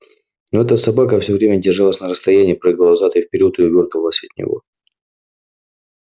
но эта собака все время держалась на расстоянии прыгала взад и вперёд и увёртывалась от него